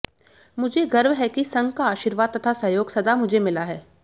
मुझे गर्व है कि संघ का आशीर्वाद तथा सहयोग सदा मुझे मिला है